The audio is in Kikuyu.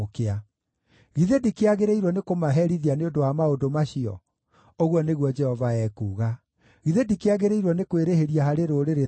Githĩ ndikĩagĩrĩirwo nĩkũmaherithia nĩ ũndũ wa maũndũ macio?” ũguo nĩguo Jehova ekuuga. “Githĩ ndikĩagĩrĩirwo nĩ kwĩrĩhĩria harĩ rũrĩrĩ ta rũrũ?